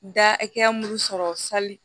Da hakɛya mun sɔrɔ sali